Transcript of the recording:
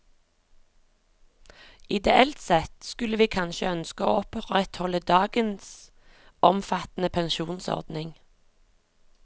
Ideelt sett skulle vi kanskje ønske oss å opprettholde dagens omfattende pensjonsordning.